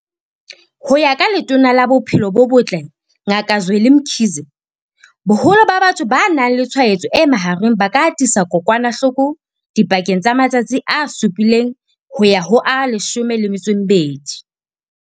Ho ya ka Letona la Bophelo bo Botle Ngaka Zweli Mkhize, boholo ba batho ba nang le tshwaetso e mahareng ba ka atisa kokwanahloko dipakeng tsa matsatsi a supileng ho ya ho a 12.